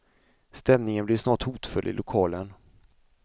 Stämningen blev snart hotfull i lokalen.